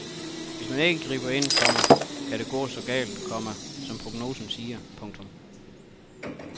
Hvis man ikke griber ind, komma kan det gå så galt, komma som prognosen siger. punktum